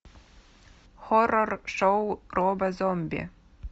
хоррор шоу роба зомби